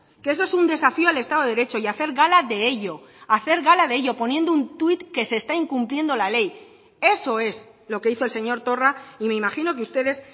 que eso es un desafío al estado de derecho y hacer gala de ello y hacer gala de ello poniendo un tuit que se está incumpliendo la ley eso es lo que hizo el señor torra y me imagino que ustedes